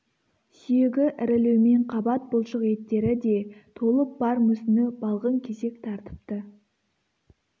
сүйегі ірілеумен қабат бұлшық еттері де толып бар мүсіні балғын кесек тартыпты